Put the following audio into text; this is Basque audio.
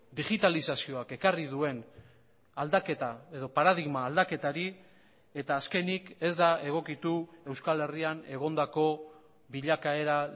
digitalizazioak ekarri duen aldaketa edo paradigma aldaketari eta azkenik ez da egokitu euskal herrian egondako bilakaera